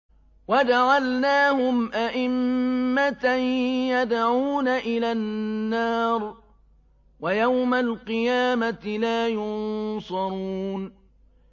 وَجَعَلْنَاهُمْ أَئِمَّةً يَدْعُونَ إِلَى النَّارِ ۖ وَيَوْمَ الْقِيَامَةِ لَا يُنصَرُونَ